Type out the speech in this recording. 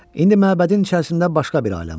İndi məbədin içərisində başqa bir aləm var.